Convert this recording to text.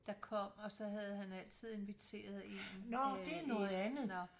Der kom og så havde han altid inviteret en øh ind nåh